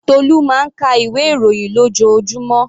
Tolu máa ń ka ìwé ìròyìn lójoojúmọ́.